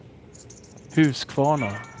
Huskvarna